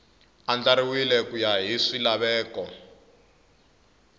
andlariwile ku ya hi swilaveko